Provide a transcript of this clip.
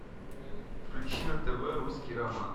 включи на тв русский роман